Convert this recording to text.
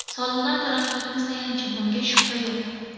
Soliqlar taraqqiyotimiz tayanchi, bunga shubha yo‘q.